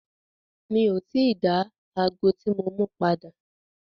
Mi o ti dá ago tí mo mú padà.